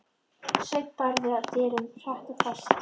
Sveinn barði að dyrum, hratt og fast.